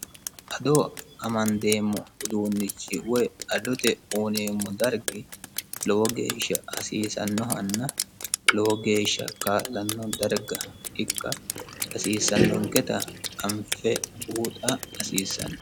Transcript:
Ado amanidemo uddunichi woyi adotte uyinemmo darggi lowo geesha hasisanohanna lowo geesha kaalanno darigga ikka hasisanoketa anife buuxa hasisanno